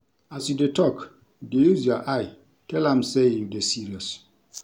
As you dey tok, dey use your eye tell am sey you dey serious.